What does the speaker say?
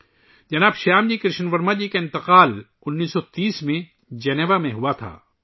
شری شیام جی کرشن ورما جی کا انتقال 1930 ء میں جنیوا میں ہوا